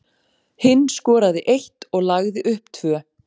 Hinn skoraði eitt og lagði upp tvö.